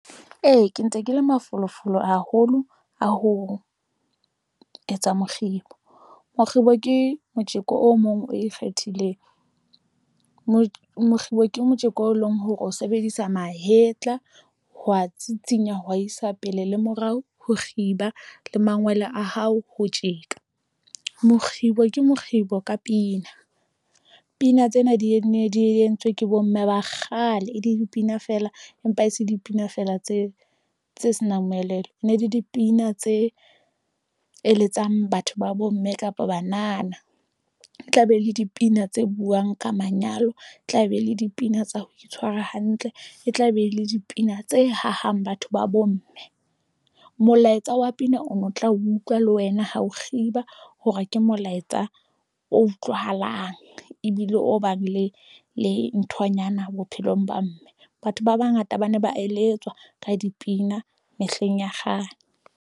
Ee, ke ntse ke le mafolofolo haholo a ho etsa mokgibo. Mokgibo ke motjeko o mong o e kgethileng. Mo mokgibo ke motjeko o leng hore o sebedisa mahetla, hwa tsitsinya hwa isa pele le morao, ho kgiba le mangwele a hao ho tjeka. Mokgibo ke mokgibo ka pina. Pina tsena di ne di entswe ke bo mme ba kgale e le dipina feela, empa e se dipina fela tse tse senang moelelo. Ne le dipina tse eletsang batho ba bomme kapa banana. E tla be le dipina tse buang ka manyalo. Tla be le dipina tsa ho itshwara hantle. E tla be e le dipina tse hahang batho ba bo mme. Molaetsa wa pina o no tla utlwa le wena ha o kgiba hore ke molaetsa o utlwahalang, ebile o bang le le nthonyana bophelong ba mme. Batho ba bangata ba ne ba eletswa ka dipina mehleng ya kgale.